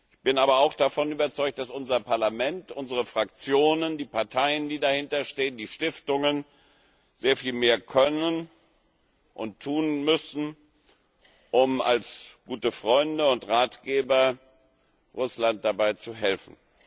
Ich bin aber auch davon überzeugt, dass unser Parlament, unsere Fraktionen, die Parteien, die dahinter stehen, und die Stiftungen, sehr viel mehr können und tun müssen, um als gute Freunde und Ratgeber Russland dabei zu helfen.